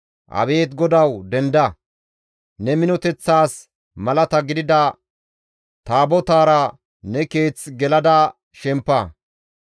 «Abeet GODAWU! Denda! Ne minoteththas malata gidida Taabotaara ne Keeth gelada shempa.